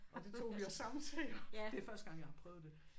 Og det tog vi os sammen til det første gang jeg har prøvet det